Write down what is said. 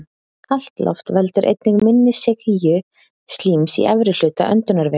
Kalt loft veldur einnig minni seigju slíms í efri hluta öndunarvegar.